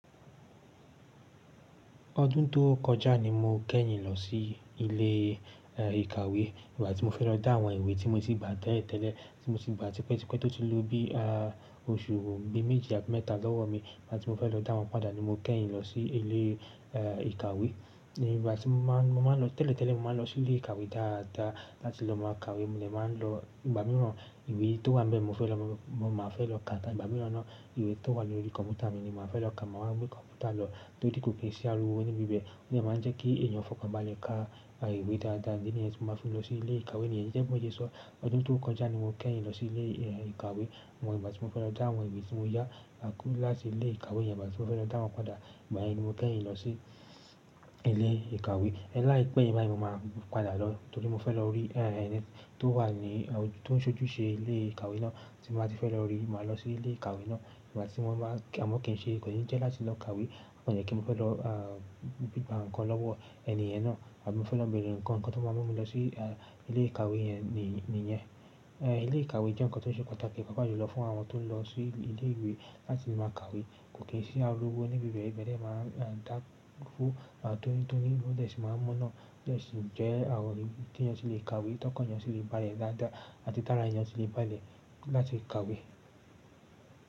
Ọdún tó kọjá ni mo kẹ́yìn lọ sí ilé ìkàwé. Ìgbà tí mo fẹ́ lọ dá àwọn ìwé tí mo ti gbà tẹ́lẹ̀ tẹ́lẹ̀, tí mo ti gbà tí pẹ́tipẹ̀tí tó ti lù ú bí oṣù bí méjì àti mẹ́ta lọ́wọ́ mi. Ìgbà tí mo fẹ́ lọ dá wọn padà ni mo kẹ́yìn lọ sí ilé ìkàwé. Ní ìgbà tí mo máa ń lọ tẹ́lẹ̀ tẹ́lẹ̀, mo máa ń lọ sí ilé ìkàwé dáadáa láti lọ máa kàwé. Mo de máa ń lọ, ìgbà mìíràn ìwé tó wà n be, mo fẹ́ lọ máa fẹ́ lọ kà. Ìgbà mìíràn ni ìwé tó wà lórí kọ̀m̀pútà mi ni màá fẹ́ lọ kà. Máa wa gbe kọ̀m̀pútà lọ tòri kòkòǹṣì àriwo ní bibẹ̀. O de máa ń jẹ́ kí èèyàn fọkàn bá a le ka ìwé dáadáa idi niyẹn tí mo máa fi lọ sí ilé ìkàwé nìyẹn. Gẹ́gẹ́ bí mo ṣeso ọdún tó kọjá ni mo kẹ́yìn lọ sí ilé ìkàwé. Àwọn ìgbà tí mo fẹ́ lọ dá àwọn ìwé tí mo yá láti ilé ìkàwé yẹn. Ìgbà tí mo fẹ́ lọ dá wọn padà, ìgbà yẹn ni mo kẹ́yìn lọ sí ilé ìkàwé. Láìpẹ́, bayẹn mo máa padà lọ torí mo fẹ́ lọ rí ẹni tó wà ní, tó ń ṣojú ṣe ilé ìkàwé náà. Tí mo bá ti fẹ́ lọ rí, màá lọ sí ilé ìkàwé náà. Ìgbà tí wọ́n bá, a mọ̀ kí n ṣe, kò ní jẹ́ láti lọ kàwé. Ó kàn jẹ́ pé mo fẹ́ lọ. Gba nǹkan lọ́wọ́ ẹni yẹn náà. Àbí mo fẹ́ lọ bẹ̀rẹ̀ nǹkan, nǹkan tó máa mú mi lọ sí ilé ìkàwé yẹn nìyẹn. Ilé ìkàwé jẹ́ nǹkan tó ṣe pàtàkì. Pápá júlọ fún àwọn tó ń lọ sí ilé ìwé láti máa kàwé. Kòkòǹṣì àriwo ní bibẹ̀, ibẹ̀ de máa ń dáwọ́ tóní tóní o de sì máa ma ná, o de sì ń jẹ́ àwọn ohun tí ẹni yẹn sì lè kàwé. Tọkàn ẹni yẹn sì lè bá a lẹ dáadáa àti tára. Ẹni yẹn sì lè bále láti kàwé.